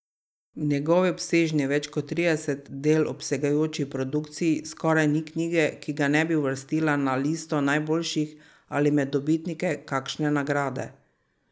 V njegovi obsežni, več kot trideset del obsegajoči produkciji skoraj ni knjige, ki ga ne bi uvrstila na listo najboljših ali med dobitnike kakšne nagrade.